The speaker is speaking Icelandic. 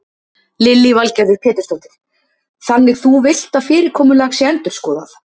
Lillý Valgerður Pétursdóttir: Þannig þú villt að fyrirkomulag sé endurskoðað?